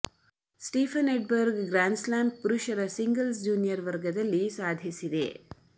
Stephen Edberg grand slam ಪುರುಷರ singles junior ವರ್ಗದಲ್ಲಿ ಸಾಧಿಸಿದೆ